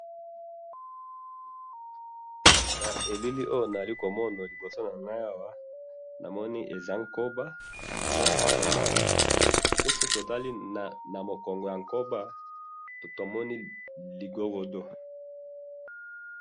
na elili oyo nazali komona liboso na ngai awa namoni ezakoba pe soki tomoni na mokongo ya koba tomoni eza ligorodo